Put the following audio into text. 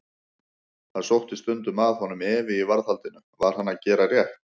Það sótti stundum að honum efi í varðhaldinu: var hann að gera rétt?